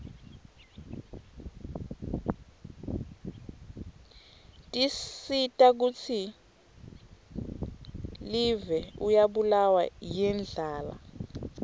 tisita kutsi divie uryabulawa yirdlala